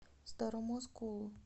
старому осколу